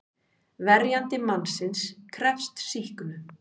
Verjandi mannsins krefst sýknu.